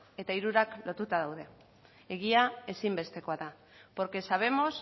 eta hirurak lotuta daude egia ezinbestekoa da porque sabemos